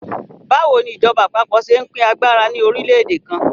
Báwo ni ìjọba àpapọ̀ ṣe ń pín agbára ní orílẹ̀-èdè kan?